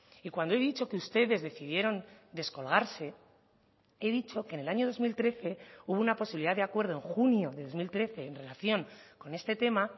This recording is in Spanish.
y cuando he dicho que ustedes decidieron descolgarse he dicho que en el año dos mil trece hubo una posibilidad de acuerdo en junio de dos mil trece en relación con este tema